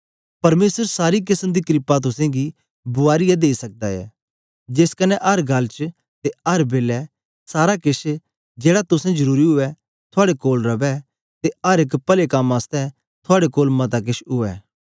परमेसर सारी केसम दी क्रपा तुसेंगी बुआरीयै देई सकदा ऐ जेस कन्ने अर गल्ल च ते अर बेलै सारा केछ जेड़ा तुसें जरुरी उवै थुआड़े कोल रवै ते अर एक पले कम आसतै थुआड़े कोल मता केछ उवै